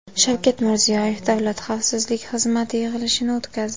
Shavkat Mirziyoyev Davlat xavfsizlik xizmati yig‘ilishini o‘tkazdi.